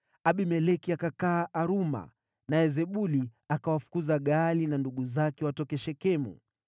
Abimeleki akakaa Aruma, naye Zebuli akawafukuza Gaali na ndugu zake watoke Shekemu.